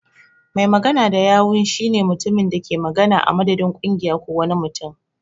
Mai magana da yawun shi ne mutumin da ke magana a madadin kungiya ko wani mutum.